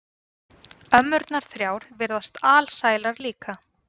Ömmurnar þrjár virðast alsælar líka.